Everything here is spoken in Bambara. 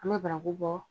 An bɛ baraku bɔ